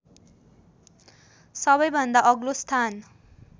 सबैभन्दा अग्लो स्थान